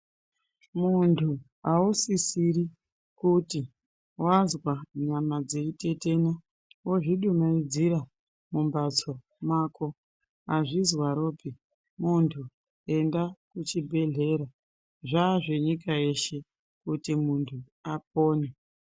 Muntu ausisiri kuti wanzwa nyama dzei tetena wozvidumaidzira mumbatso mwako, azvinzwaropi muntu enda kuchibhedhlera, zvaazvenyika yeshe kuti muntu apone.